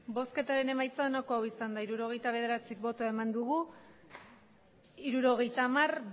bozketaren emaitza onako izan da hirurogeita hamar eman dugu bozka hirurogeita hamar